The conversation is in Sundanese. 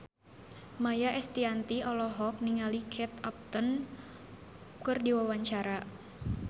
Maia Estianty olohok ningali Kate Upton keur diwawancara